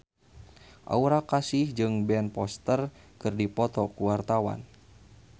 Aura Kasih jeung Ben Foster keur dipoto ku wartawan